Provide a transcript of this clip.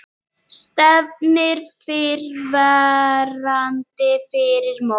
Stefnir fyrrverandi fyrir dóm